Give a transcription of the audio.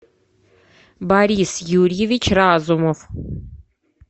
борис юрьевич разумов